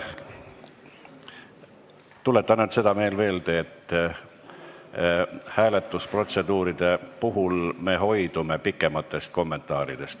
Tuletan ainult veel seda meelde, et hääletusprotseduuride puhul me hoidume pikematest kommentaaridest.